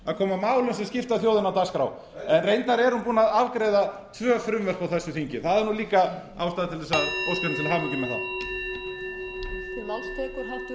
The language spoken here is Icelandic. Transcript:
að koma málum sem skipta þjóðina á dagskrá reyndar er hún búin að afgreiða tvö frumvörp á þessu þingi það er líka ástæða til að óska henni til hamingju með það